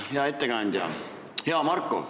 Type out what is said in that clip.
Hea ettekandja, hea Marko!